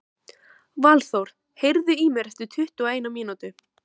Valþór, heyrðu í mér eftir tuttugu og eina mínútur.